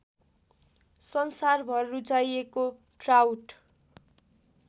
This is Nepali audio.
संसारभर रुचाइएको ट्राउट